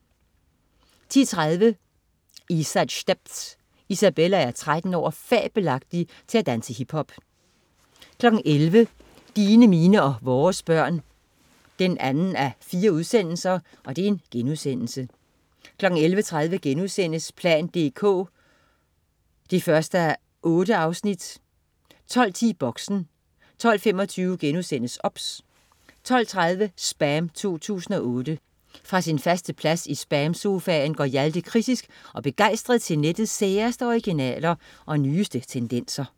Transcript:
10.30 Isa's stepz. Isabella er 13 år og fabelagtig til at danse hiphop 11.00 Dine, mine og vores børn 2:4* 11.30 plan dk 1:8* 12.10 Boxen 12.25 OBS* 12.30 SPAM 2008. Fra sin faste plads i SPAM-sofaen går Hjalte kritisk og begejstret til nettets særeste originaler og nyeste tendenser